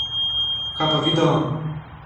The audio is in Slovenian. Kaj pa video?